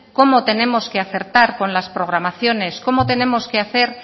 cómo tenemos que acertar con las programaciones